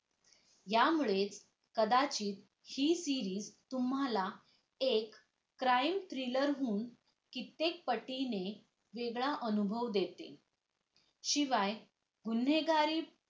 यामुळे कदाचित ती series तुम्हाला एक crime thriller म्हणून कित्येक पटीने वेगळा अनुभव देते शिवाय गुन्हेगारी